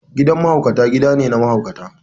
Gidan mahaukata gida ne na mahaukata.